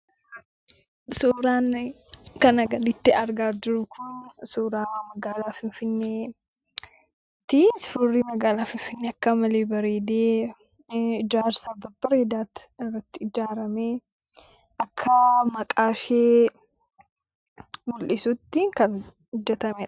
Suuraan kanaa gaditti argaa jirru kun, suuraa magaalaa Finfinneeti. Suurri magaalaa Finfinnee akka malee bareedee, ijaarsa babbareedaatu irratti ijaaramee, akka maqaa ishee mul'isutti kan hojjetamedha.